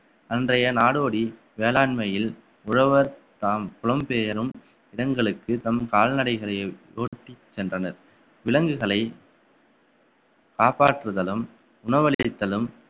அன்றைய நாடோடி வேளாண்மையில் உழவர் தாம் புலம்பெயரும் இடங்களுக்கு தம் கால்நடைகளையும் ஓட்டிச் சென்றனர் விலங்குகளை காப்பாற்றுதலும் உணவளித்தலும்